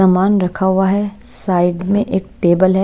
सामान रखा हुआ है साइड में एक टेबल है।